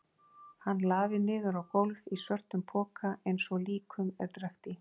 Hann lafir niður á gólf í svörtum poka einsog líkum er drekkt í.